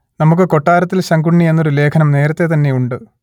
നമുക്ക് കൊട്ടാരത്തിൽ ശങ്കുണ്ണി എന്നൊരു ലേഖനം നേരത്തേ തന്നെ ഉണ്ട്